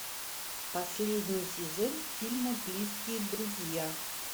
последний сезон фильма близкие друзья